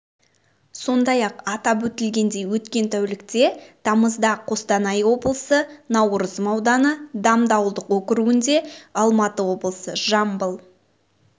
сондай-ақ атап өтілгендей өткен тәулікте тамызда қостанай облысы наурызым ауданы дамды ауылдық округінде алматы облысы жамбыл